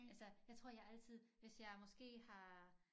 Altså jeg tror jeg altid hvis jeg måske har